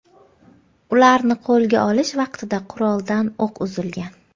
Ularni qo‘lga olish vaqtida quroldan o‘q uzilgan.